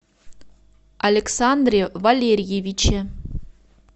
александре валерьевиче